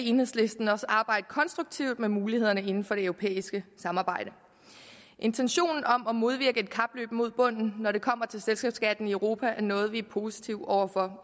enhedslisten også arbejde konstruktivt med mulighederne inden for det europæiske samarbejde intentionen om at modvirke et kapløb mod bunden når det kommer til selskabsskatten i europa er noget vi er positive over for